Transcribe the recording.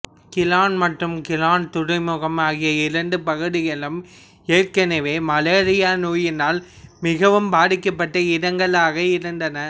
Klang மற்றும் Klang துறைமுகம் ஆகிய இரண்டு பகுதிகளும் ஏற்கனவே மலேரியா நோயினால் மிகவும் பாதிக்கப்பட்ட இடங்களாக இருந்தன